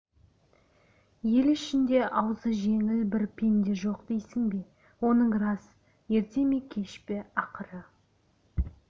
ел ішінде аузы жеңіл бір пенде жоқ дейсің бе оның рас ерте ме кеш пе ақыры